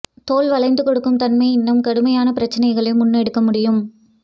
தோல் வளைந்து கொடுக்கும் தன்மை இன்னும் கடுமையான பிரச்சனைகளை முன்னெடுக்க முடியும்